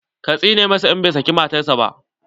Ka tsine masa in bai saki matan sa ba!